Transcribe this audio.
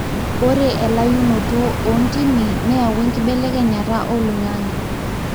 ore elayunoto ontimi neyawua enkibelekenyata oloingange.